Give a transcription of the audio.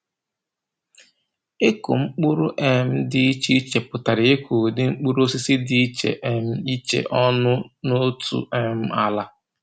Ịkụ mkpụrụ um dị iche iche pụtara ịkụ ụdị mkpụrụosisi dị iche um iche ọnụ n’otu um ala.